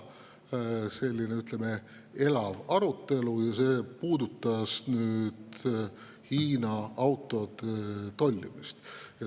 Selle üle oli elav arutelu ja see puudutas Hiina autode tollimist.